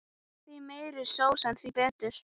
Því meiri sósa því betra.